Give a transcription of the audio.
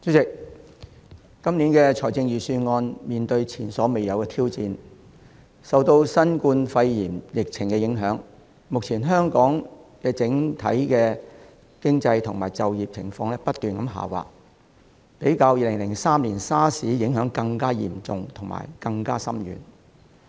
主席，今年的財政預算案面對前所未有的挑戰，受到新冠肺炎疫情的影響，目前香港整體經濟和就業情況不斷下滑，較2003年 SARS 的影響更嚴重和深遠。